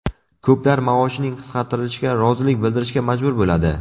Ko‘plar maoshining qisqartirilishiga rozilik bildirishga majbur bo‘ladi.